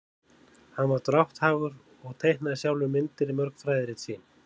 hann var drátthagur og teiknaði sjálfur myndir í mörg fræðirit sín